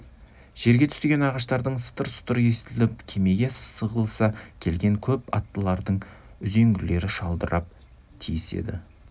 жерге түскен ағаштардың сатыр-сұтыры естіліп кермеге сығылыса келген көп аттылардың үзеңгілері шалдырап тиіседі